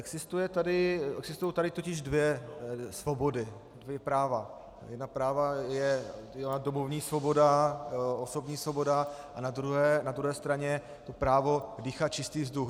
Existují tady totiž dvě svobody, dvě práva - jedno právo je domovní svoboda, osobní svoboda a na druhé straně právo dýchat čistý vzduch.